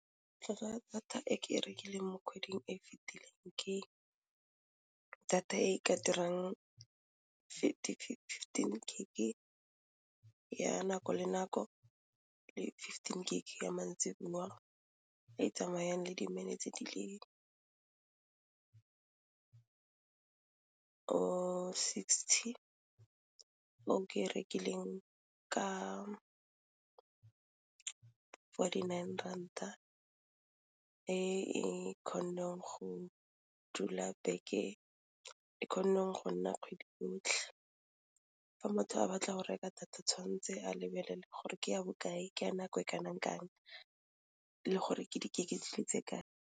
Tlhwatlhwa ya data e ke e rekileng mo kgweding e fitileng ke data e ka dirang fifteen gig ko ya nako le nako le fifteen gig ya maitseboa e tsamayang le di-minutes di le sixty o ke rekileng ka forty nine ranta e e kgonneng go dula beke e kgonang go nna kgwedi yotlhe. Fa motho a batla go reka data tshwantse a lebelele gore ke ya bokae ka nako e kanang kang le gore ke di gig kae.